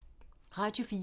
Radio 4